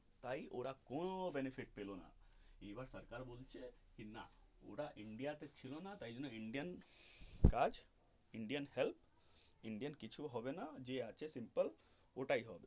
তাই ওরা কোনো benefit পেলো না আবার সরকার বলছে না ওরা India তে ছিল না তাই জন্য indian কাজ indian help indian কিছু হবে না যে আছে simple ওটাই হবে.